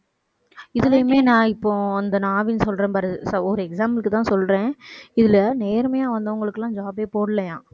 இதுலயுமே நான் இப்போ அந்த நான் ஆவின் சொல்றேன் பாரு ஒரு example க்குதான் சொல்றேன். இதுல நேர்மையா வந்தவங்களுக்கு எல்லாம் job பே போடலையாம்.